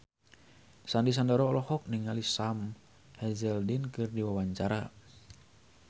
Sandy Sandoro olohok ningali Sam Hazeldine keur diwawancara